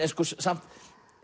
samt